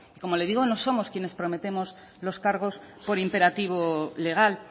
como le digo no somos quienes prometemos los cargos por imperativo legal